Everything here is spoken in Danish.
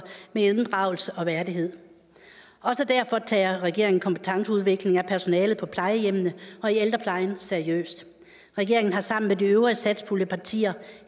med inddragelse og værdighed også derfor tager regeringen kompetenceudvikling af personalet på plejehjemmene og i ældreplejen seriøst regeringen har sammen med de øvrige satspuljepartier